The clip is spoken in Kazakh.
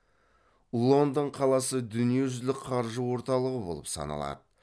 лондон қаласы дүниежүзлік қаржы орталығы болып саналады